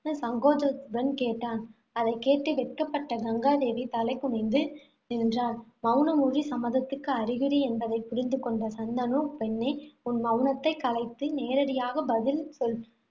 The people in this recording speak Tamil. சங்கோஜத்துடன் கேட்டான் அதைக்கேட்டு வெட்கப்பட்ட கங்காதேவி தலை குனிந்து நின்றாள். மவுனமொழி சம்மதத்துக்கு அறிகுறி என்பதைப் புரிந்து கொண்ட சந்தனு, பெண்ணே உன் மவுனத்தைக் கலைத்து நேரடியாக பதில் சொல்